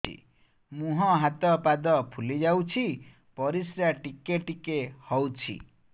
ମୁହଁ ହାତ ପାଦ ଫୁଲି ଯାଉଛି ପରିସ୍ରା ଟିକେ ଟିକେ ହଉଛି